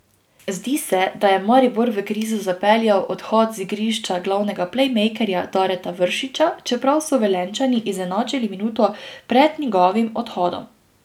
Zdi se, da je Maribor v krizo zapeljal odhod z igrišča glavnega plejmejkerja Dareta Vršiča, čeprav so Velenjčani izenačili minuto pred njegovim odhodom.